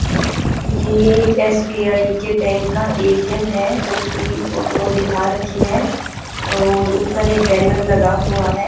ये एक एस_बी_आई के बैंक का ए_टी_एम है उसकी फोटो दिखा रखी है और ऊपर एक बैनर लगा हुआ है।